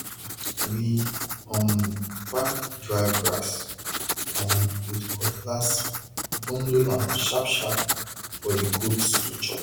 we um pack dry grass um with cutlass bundle am sharpsharp for the goats to chop